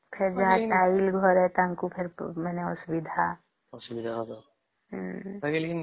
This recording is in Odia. ଫେର ଯାହା ଟାଇଲ ଘରେ ତାଙ୍କୁ ଫେର ଅସୁବିଧା ହଁ